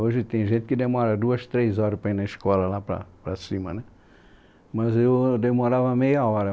Hoje tem gente que demora duas, três horas para ir na escola lá para, para cima né, mas eu demorava meia hora.